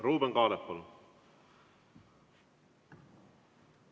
Ruuben Kaalep, palun!